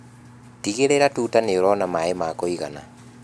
Tigĩrĩra tuta nĩũrona maĩ ma kũigana.